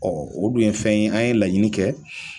o dun ye fɛn ye an ye laɲini kɛ.